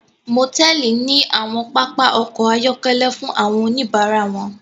Motẹẹli ní awọn papa ọkọ ayọkẹlẹ fún awọn onibara wọn